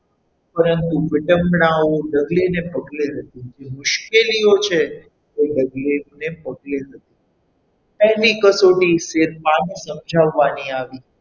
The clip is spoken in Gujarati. પરંતુ વીડગણાઓ ડગલે ને પગલે હતી જે મુશ્કેલીઓ છે એ ડગલેને પગલે હતી. કંઈ બી કસોટી સમજાવવાની આવી,